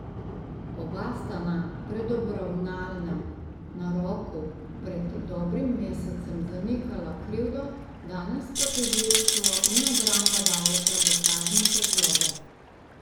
Oba sta na predobravnalnem naroku pred dobrim mesecem zanikala krivdo, danes pa tožilstvo in obramba dajeta dokazne predloge.